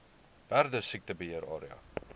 perdesiekte beheer area